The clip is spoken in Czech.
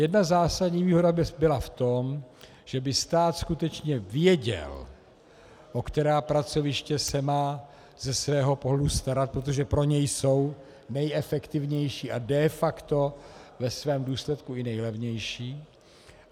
Jedna zásadní výhoda by byla v tom, že by stát skutečně věděl, o která pracoviště se má ze svého pohledu starat, protože pro něj jsou nejefektivnější a de facto ve svém důsledku i nejlevější.